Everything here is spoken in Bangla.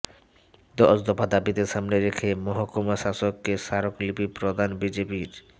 দশদফা দাবিকে সামনে রেখে মহকুমা শাসককে স্বারক লিপি প্রদান বিজেপির